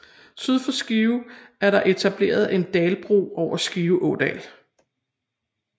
Syd for Skive er der etableret en dalbro over Skive Ådal